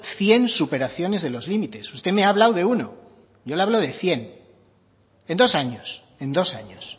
cien superaciones de los límites usted me ha hablado de uno yo le hablo de cien en dos años en dos años